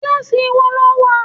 Kíláàsì wo lo wà?